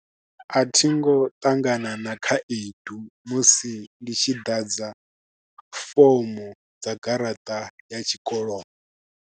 A thi ngo ṱangana na khaedu musi ndi tshi ḓadza fomo dza garaṱa ya tshikolo.